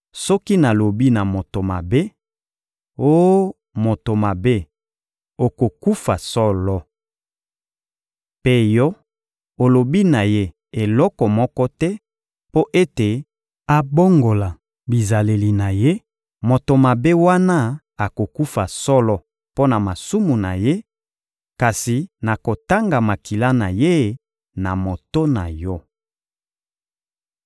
Soki nalobi na moto mabe: ‹Oh moto mabe, okokufa solo!› Mpe yo, olobi na ye eloko moko te mpo ete abongola bizaleli na ye, moto mabe wana akokufa solo mpo na masumu na ye; kasi nakotanga makila na ye na moto na yo.